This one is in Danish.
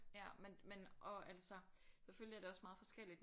Ja men men og altså selvfølgelig er det også meget forskelligt